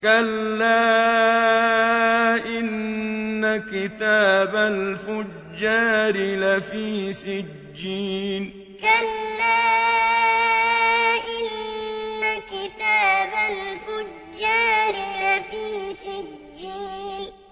كَلَّا إِنَّ كِتَابَ الْفُجَّارِ لَفِي سِجِّينٍ كَلَّا إِنَّ كِتَابَ الْفُجَّارِ لَفِي سِجِّينٍ